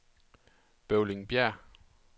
Bøvlingbjerg